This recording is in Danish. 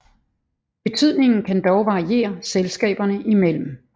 Betydningen kan dog variere selskaberne imellem